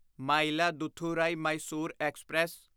Mayiladuthurai Mysore express